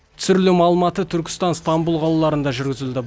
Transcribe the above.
түсірілім алматы түркістан ыстамбұл қалаларында жүргізілді